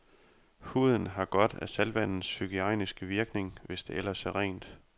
Huden har godt af saltvandets hygiejniske virkning, hvis det ellers er rent.